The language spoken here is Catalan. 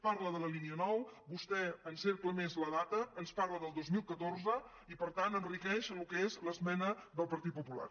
parla de la línia nou vostè encercla més la data ens parla del dos mil catorze i per tant enriqueix el que és l’esmena del partit popular